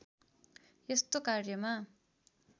यस्तो कार्यमा